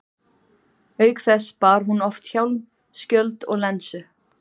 Auk þess bar hún oft hjálm, skjöld og lensu.